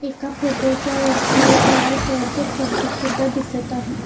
एका फोटो च्या वरती एक लाल कलर च स्वस्तिक सुद्धा दिसत आहे.